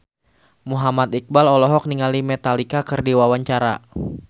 Muhammad Iqbal olohok ningali Metallica keur diwawancara